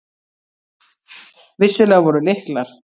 Vissulega voru lyklar.